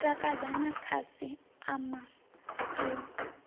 u takadza khasi ama u